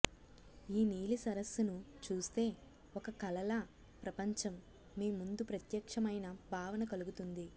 ఈ నీలి సరస్సును చూస్తే ఒక కలల ప్రపంచం మీ ముందు ప్రత్యక్ష్యమైన భావన కలుగుతుంది